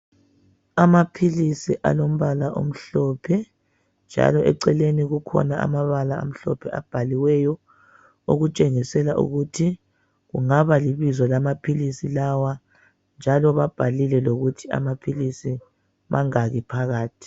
Amaphilisi alombala omhlophe njalo eceleni kukhona amabala amhlophe abhaliweyo okutshengisela ukuthi kungaba libizo lamaphilisi lawa njalo babhalile lokuthi amaphilisi mangaki phakathi.